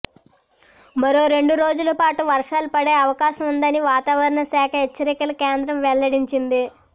మరో రెండు రోజుల పాటు వర్షాలు పడే అవకాశం ఉందని వాతావరణ శాఖ హెచ్చరికల కేంద్రం వెల్లడించింది